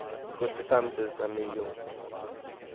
sjuttiofem tusen nio